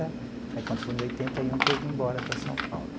Aí, quando foi em oitenta e um que eu vim embora para São Paulo.